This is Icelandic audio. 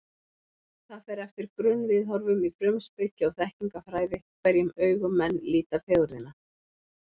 Það fer eftir grunnviðhorfum í frumspeki og þekkingarfræði, hverjum augum menn líta fegurðina.